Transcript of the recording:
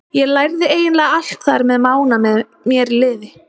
Ég lærði eiginlega allt þar með Mána með mér í liði.